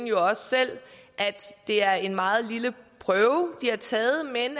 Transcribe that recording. jo også selv at det er en meget lille prøve de har taget men